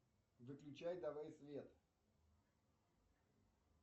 выключай давай свет